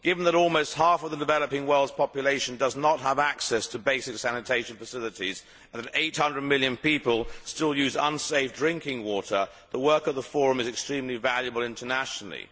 Given that almost half the developing world's population does not have access to basic sanitation facilities and that 800 million people still use unsafe drinking water, the work of the Forum is extremely valuable internationally.